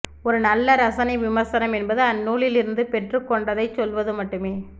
ஒரு நல்ல ரசனைவிமர்சனம் என்பது அந்நூலில் இருந்து பெற்றுக்கொண்டதைச் சொல்வது மட்டுமே